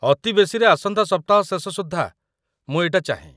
ଅତି ବେଶିରେ ଆସନ୍ତା ସପ୍ତାହ ଶେଷ ସୁଦ୍ଧା ମୁଁ ଏଇଟା ଚାହେଁ ।